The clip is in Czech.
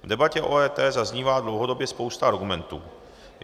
V debatě o EET zaznívá dlouhodobě spousta argumentů.